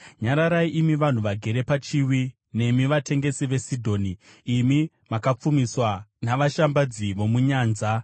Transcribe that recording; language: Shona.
Nyararai, imi vanhu vagere pachiwi nemi vatengesi veSidhoni, imi makapfumiswa navashambadzi vomunyanza.